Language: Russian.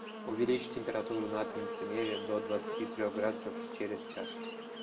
увеличь температуру на кондиционере до двадцати трех градусов через час